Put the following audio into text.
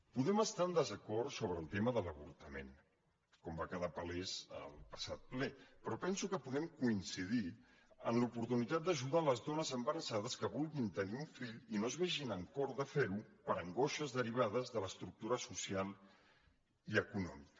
podem estar en desacord sobre el tema de l’avortament com va quedar palès al passat ple però penso que podem coincidir en l’oportunitat d’ajudar les dones embarassades que vulguin tenir un fill i no es vegin amb cor de fer ho per angoixes derivades de l’estructura social i econòmica